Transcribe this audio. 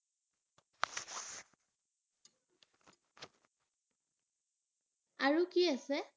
আৰু কি আছে?